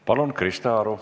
Palun, Krista Aru!